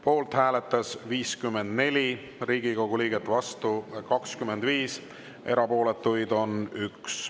Poolt hääletas 54 Riigikogu liiget, vastu 25, erapooletuid oli 1.